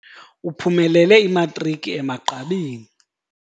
Uphumelele imatriki emagqabini.